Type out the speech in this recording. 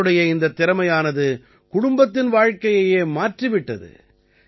இவருடைய இந்தத் திறமையானது குடும்பத்தின் வாழ்க்கையையே மாற்றிவிட்டது